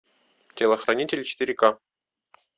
телохранитель четыре ка